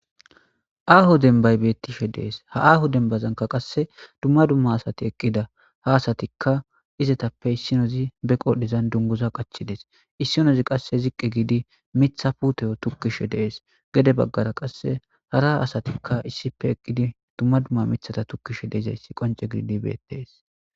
Aho demibayi betishe deyesi aho demibanika duma duma assati eqidda ha assatika izatape isinozi be qodheni dunguza qachidesi isinozi qassi ziqi gidi mitha pute tokishe desi gede baggara qassi hara asatika duma duma mithata tokishe betesi